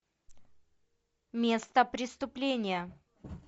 место преступления